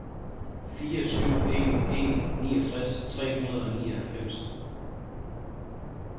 fire syv en en niogtres tre hundrede og nioghalvfems